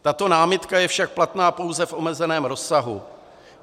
Tato námitka je však platná pouze v omezeném rozsahu.